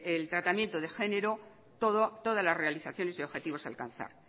el tratamiento de género todas las realizaciones y objetivos a alcanzar